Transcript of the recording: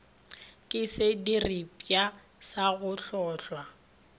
ke sediripwa sa go hlohla